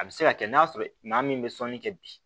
A bɛ se ka kɛ n'a sɔrɔ maa min bɛ sɔnni kɛ bi